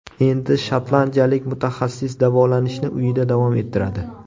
Endi shotlandiyalik mutaxassis davolanishni uyida davom ettiradi.